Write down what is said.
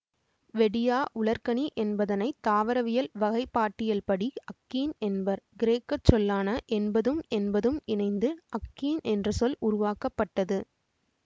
வெடியா உலர்கனி என்பதனை தாவரவியல் வகைப்பாட்டியல்படி அக்கீன் என்பர் கிரேக்க சொல்லான என்பதும் என்பதும் இணைந்து அக்கீன் என்ற சொல் உருவாக்க பட்டது